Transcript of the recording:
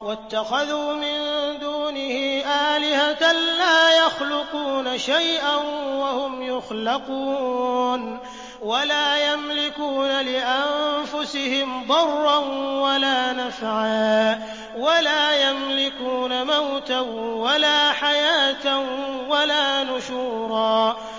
وَاتَّخَذُوا مِن دُونِهِ آلِهَةً لَّا يَخْلُقُونَ شَيْئًا وَهُمْ يُخْلَقُونَ وَلَا يَمْلِكُونَ لِأَنفُسِهِمْ ضَرًّا وَلَا نَفْعًا وَلَا يَمْلِكُونَ مَوْتًا وَلَا حَيَاةً وَلَا نُشُورًا